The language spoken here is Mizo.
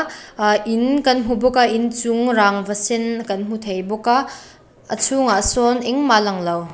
ahh in kan hmu bawk a in chung rangva sen kan hmu thei bawk a a chhungah sawn engmah a langlo.